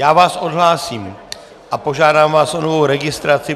Já vás odhlásím a požádám vás o novou registraci.